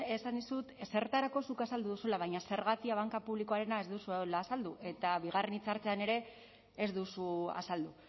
esan dizut zertarako zuk azaldu duzula baina zergatia banka publikoarena ez duzuela azaldu eta bigarren hitzaldian ere ez duzu azaldu